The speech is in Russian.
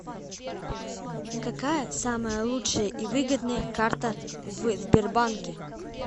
какая самая лучшая и выгодная карта в сбербанке